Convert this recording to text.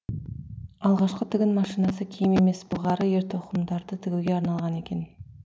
алғашқы тігін машинасы киім емес былғары ер тоқымдарды тігуге арналған екен